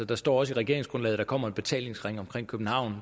der står også i regeringsgrundlaget at der kommer en betalingsring omkring københavn